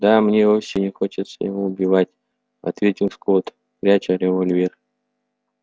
да мне вовсе не хочется его убивать ответил скотт пряча револьвер